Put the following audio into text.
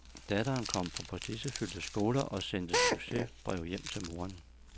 Datteren kom på prestigefyldte skoler og sendte succesbreve hjem til moderen.